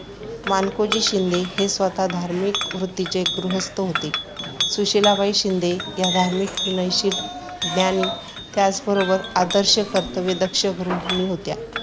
मानकोजी शिंदे हे स्वतः धार्मिक वृतीचे गृहस्थ होते. सुशीलाबाई शिंदे या धार्मिक, विनयशील, ज्ञानी त्याचबरोबर आदर्श कर्तव्यदक्ष गृहिणी होत्या.